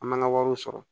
An man ka wariw sɔrɔ